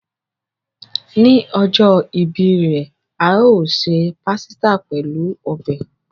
Ni ojo ìbí re, a o se pàsítà pelu ọbẹ̀.